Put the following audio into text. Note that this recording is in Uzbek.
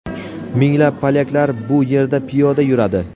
Minglab polyaklar bu yerda piyoda yuradi.